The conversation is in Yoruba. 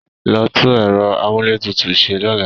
Lọ tú ẹ̀rọ amúlétutù ṣe lọ́la!